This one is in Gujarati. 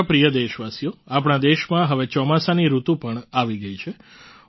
મારા પ્રિય દેશવાસીઓ આપણા દેશમાં હવે ચોમાસાની ઋતુ પણ આવી ગઈ છે